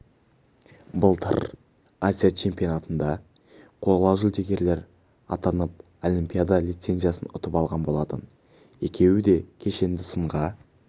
былтыр азия чемпионатында қола жүлдегер атанып олимпиада лицензиясын ұтып алған болатын екеуі де кешенді сынға